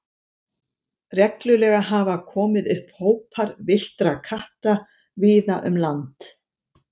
Reglulega hafa komið upp hópar villtra katta víða um land.